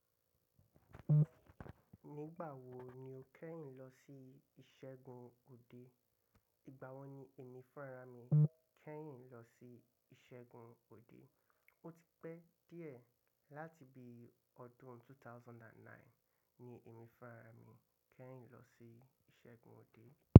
Nígbà wo ni o kẹ́yìn lọ sí ìṣẹ́gun òde? Ìgbà wo ni ẹ̀mí fúnra mi kẹ́yìn lọ sí ìṣẹ́gun òde? Ó ti pẹ́ díẹ̀ láti bí ọdún 2009 ni ẹ̀mí fúnra mi kẹ́yìn lọ sí ìṣẹ́gun òde.